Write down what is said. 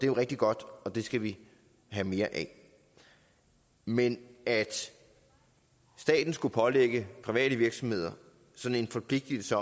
jo rigtig godt og det skal vi have mere af men at staten skulle pålægge private virksomheder sådan en forpligtelse